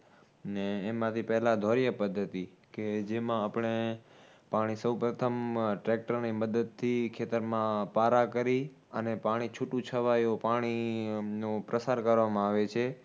ને એમાંથી પહેલા ધોળીયા પદ્ધતિ. કે જેમાં આપણે પાણી સૌપ્રથમ tractor ની મદદથી ખેતરમાં પારા કરી અને પાણી છૂટું છવાયું પાણીનું પ્રસાર કરવામાં આવે છે